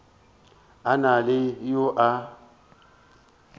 a na le yo a